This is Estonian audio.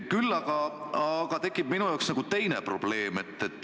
Küll aga on minu jaoks tekkinud teine probleem.